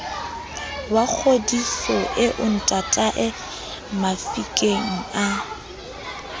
wa kgodiso eo ntataemafikeng a